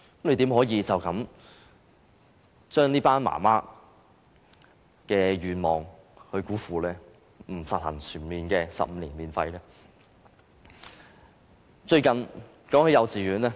局長怎可以辜負這群母親的願望，不實行全面的15年免費教育呢？